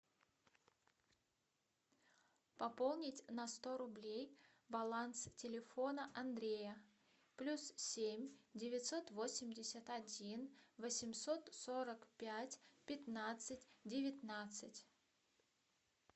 пополнить на сто рублей баланс телефона андрея плюс семь девятьсот восемьдесят один восемьсот сорок пять пятнадцать девятнадцать